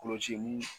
Kɔlɔsili